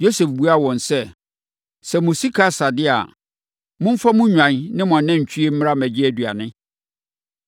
Yosef buaa wɔn sɛ, “Sɛ mo sika asa deɛ a, momfa mo nnwan ne mo anantwie mmra mmɛgye aduane.”